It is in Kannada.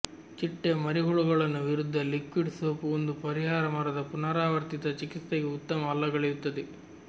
ಚಿಟ್ಟೆ ಮರಿಹುಳುಗಳನ್ನು ವಿರುದ್ಧ ಲಿಕ್ವಿಡ್ ಸೋಪ್ ಒಂದು ಪರಿಹಾರ ಮರದ ಪುನರಾವರ್ತಿತ ಚಿಕಿತ್ಸೆಗೆ ಉತ್ತಮ ಅಲ್ಲಗಳೆಯುತ್ತದೆ